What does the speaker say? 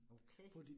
Okay